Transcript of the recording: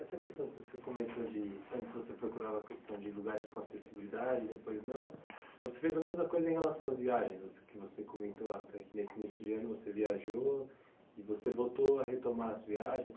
Essa questão que você comentou de antes você procurava a questão de lugares com acessibilidade e depois não, você fez a mesma coisa em relação às viagens, você que você comentou até que nesse início de ano você viajou e você voltou a retomar as viagens.